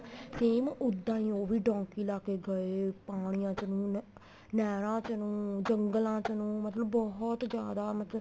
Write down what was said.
same ਉੱਦਾਂ ਈ ਉਹ ਵੀ donkey ਲਾਕੇ ਗਏ ਪਾਣੀਆਂ ਚ ਹੁਣ ਨਹਿਰਾ ਚ ਨੂੰ ਜੰਗਲਾ ਚ ਨੂੰ ਮਤਲਬ ਬਹੁਤ ਜਿਆਦਾ ਮਤਲਬ